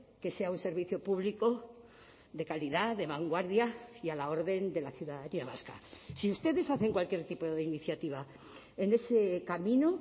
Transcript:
que sea un servicio público de calidad de vanguardia y a la orden de la ciudadanía vasca si ustedes hacen cualquier tipo de iniciativa en ese camino